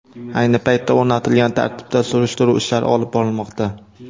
Ayni paytda o‘rnatilgan tartibda surishtiruv ishlari olib borilmoqda.